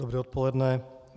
Dobré odpoledne.